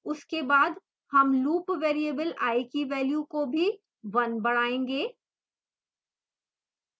उसके बाद हम loop variable i की value को भी 1 बढ़ायेंगे